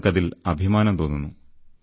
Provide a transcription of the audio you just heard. ഞങ്ങൾക്ക് അതിൽ അഭിമാനം തോന്നുന്നു